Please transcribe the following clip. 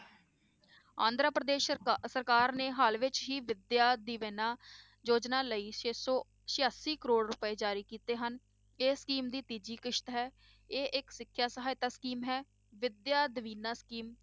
ਆਂਧਰਾ ਪ੍ਰਦੇਸ ਸਰਕਾ~ ਸਰਕਾਰ ਨੇ ਹਾਲ ਵਿੱਚ ਹੀ ਵਿਦਿਆ ਦਿਵੇਨਾ ਯੋਜਨਾ ਲਈ ਛੇ ਸੌ ਸਿਆਸੀ ਕਰੌੜ ਰੁਪਏ ਜਾਰੀ ਕੀਤੇ ਹਨ, ਇਹ scheme ਦੀ ਤੀਜੀ ਕਿਸ਼ਤ ਹੈ ਇਹ ਇੱਕ ਸਿੱਖਿਆ ਸਹਾਇਤਾ scheme ਹੈ ਵਿਦਿਆ ਦਿਵੇਨਾ scheme